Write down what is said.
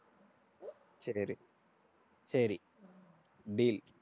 சரி இரு சரி deal